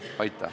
Aitäh!